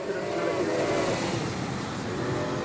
culturals நடக்குது அப்டினு சொல்லி